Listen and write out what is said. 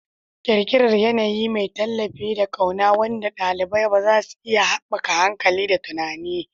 Ƙirƙirar yanayi mai tallafi da ƙauna wanda ɗalibai za su iya haɓaka hankali da tunani.